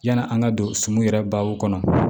Yani an ka don sum yɛrɛ baw kɔnɔ